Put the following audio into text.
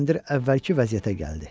Kəndir əvvəlki vəziyyətə gəldi.